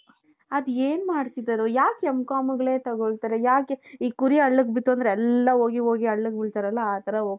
ಅದೇನ್ ಮಾಡ್ತಿದ್ದಾರೋ ಯಾಕ್ M.com ಗಳೇ ತಗೊಳ್ತಾರೆ? ಯಾಕೆ ಈ ಕುರಿ ಹಳ್ಳಕ್ಕೆ ಬಿತ್ತು ಅಂದ್ರೆ ಎಲ್ಲಾ ಹೋಗಿ ಹೋಗಿ ಹಳ್ಳಕ್ಕೆ ಬೀಳ್ತಾರಲ್ಲ ಆ ತರ ಹೋಗ್ತಾರೆ .